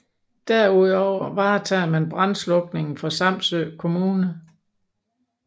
Derudover varetager man brandslukningen for Samsø Kommune